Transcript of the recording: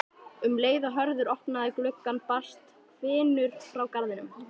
Um leið og Hörður opnaði gluggann barst hvinur frá garðinum.